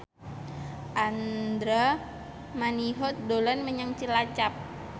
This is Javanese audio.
Andra Manihot dolan menyang Cilacap